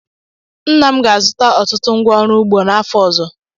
Nna m ga-azụta ọtụtụ ngwá ọrụ ugbo n'afọ ọzọ.